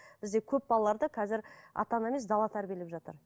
бізде көп балаларды қазір ата ана емес дала тәрбиелеп жатыр